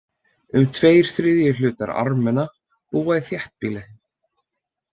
Um tveir þriðju hlutar Armena búa í þéttbýli.